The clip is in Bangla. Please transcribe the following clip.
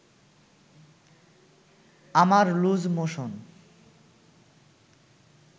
আমার লুজ মোশন